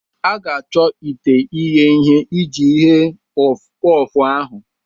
a ga-achọ ite ighe ihe iji ghee puffu-puffu ahụ.